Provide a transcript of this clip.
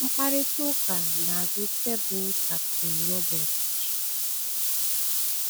Ma mkparịta ụka n’azụ tebụl Kapten Robert G.